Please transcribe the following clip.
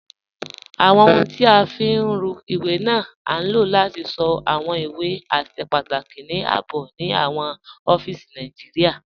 Awọn ọhuń tí a fi ń rùn iwé ni á lò láti sọ́ awọn iwé àṣẹ̀ pàtàkì ní ààbò ni awọn ọ̀fíìsí Nàìjíríà.